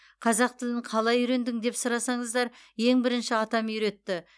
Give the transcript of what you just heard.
қазақ тілін қалай үйрендің деп сұрасаңыздар ең бірінші атам үйретті